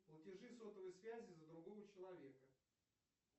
платежи сотовой связи за другого человека